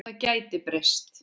Það gæti breyst.